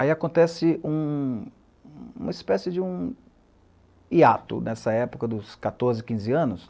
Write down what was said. Aí acontece um uma espécie de um hiato nessa época dos quatorze, quinze anos.